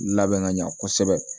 Labɛn ka ɲa kosɛbɛ